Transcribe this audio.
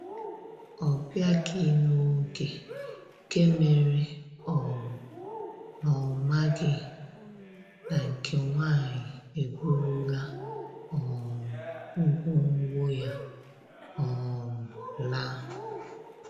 Ọ biaghi n'oge nke mere um na ọ maghị na nke nwaanyị eburula um ngwo ngwo ya um laa